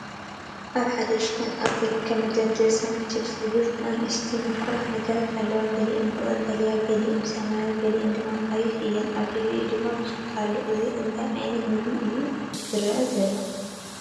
ኣብ ሓደ ድኳን ኣብ ዝርከብ መደርደሪ፡ “SUN CHIPS” ዝበሃሉ ንኣሽቱ ምቁራት ነገራት ኣለዉ። ገሊአን ብቀጠልያ፡ ገሊአን ብሰማያዊ፡ ገሊአን ድማ ብቐይሕ እየን። ኣብ ልዕሊኡ ድማ ቢስኩት ኣሎ። ኣብዚ እንታይ ዓይነት ምግቢ እዩ ዝርአ ዘሎ?